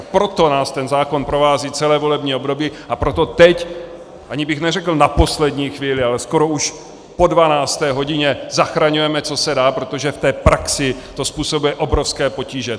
A proto nás ten zákon provází celé volební období a proto teď - ani bych neřekl na poslední chvíli, ale skoro už po 12. hodině - zachraňujeme, co se dá, protože v té praxi to způsobuje obrovské potíže.